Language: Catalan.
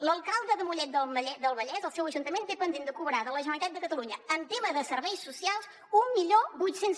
l’alcalde de mollet del vallès el seu ajuntament té pendent de cobrar de la generalitat de catalunya en temes de serveis socials mil vuit cents